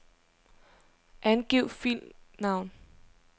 Angiv filnavn.